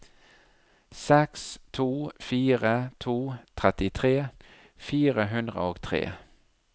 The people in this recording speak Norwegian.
seks to fire to trettitre fire hundre og tre